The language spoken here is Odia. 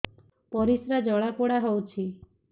ପରିସ୍ରା ଜଳାପୋଡା ହଉଛି